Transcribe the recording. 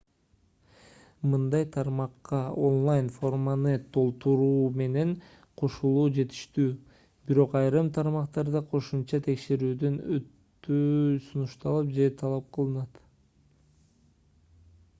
мындай тармакка онлайн форманы толтуруу менен кошулуу жетиштүү бирок айрым тармактарда кошумча текшерүүдөн өтүү сунушталып же талап кылынат